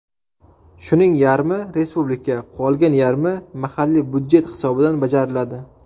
Shuning yarmi respublika, qolgan yarmi mahalliy budjet hisobidan bajariladi.